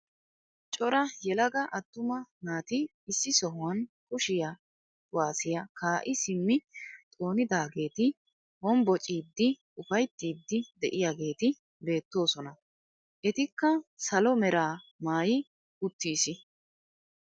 Cora yelaga attuma naati issi sohuwaan kushe kuwaasiyaa kaa'i simmi xoonidaageti honbocciidi ufayttiidi de'iyaageti beettoosona. etikka salo mera maayi uttiis.